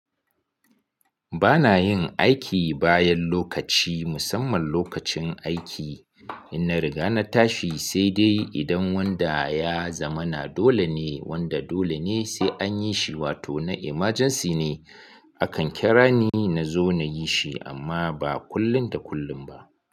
Ba na yin aiki bayan lokaci, musamman lokacin aiki. Ina riga na tashi, sai dai idan wanda ya zamana dole ne wanda dole ne sai an yi shi wato na emergency ne. Akan kira ni nazo na yi shi amma ba kullun da kullun ba.